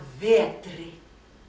vetri